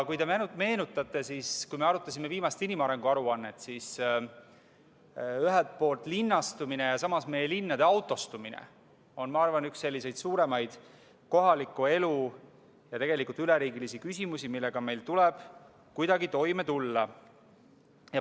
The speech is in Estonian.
Kui te meenutate seda, kui me arutasime viimast inimarengu aruannet, siis ühelt poolt linnastumine ja teiselt poolt meie linnade autostumine on, ma arvan, üks selliseid suuremaid kohaliku elu ja tegelikult üleriigilisi küsimusi, millega meil tuleb kuidagi toime tulla.